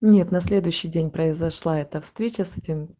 нет на следующий день произошла эта встреча